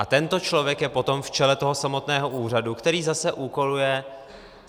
A tento člověk je potom v čele toho samotného úřadu, který zase úkoluje.